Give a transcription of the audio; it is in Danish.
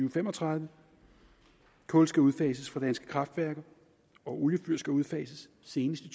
og fem og tredive kul skal udfases på danske kraftværker oliefyr skal udfases senest i